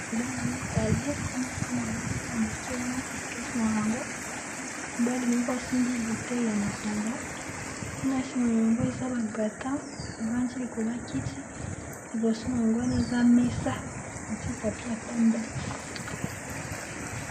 Mobali mibale pe na mwana mwasi ya moke wana katikati na bango mobali moko asimbi bute ya masanga kuna nsima ya bango eza babratan bavandi likolo akiti liboso na yango wana eza mesa batita pya pembe.